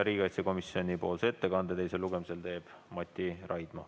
Riigikaitsekomisjonipoolse ettekande teisel lugemisel teeb Mati Raidma.